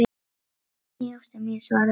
Nei, ástin mín, svarar hún.